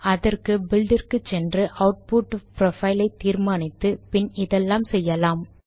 அதற்கு பில்ட் இற்கு சென்று ஆட்புட் புரோஃபைல் ஐ தீர்மானித்து பின் இதெல்லாம் செய்யலாம்